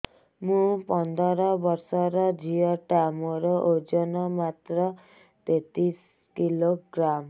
ମୁ ପନ୍ଦର ବର୍ଷ ର ଝିଅ ଟା ମୋର ଓଜନ ମାତ୍ର ତେତିଶ କିଲୋଗ୍ରାମ